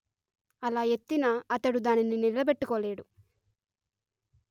అలా ఎత్తినా అతడు దానిని నిలబెట్టుకోలేడు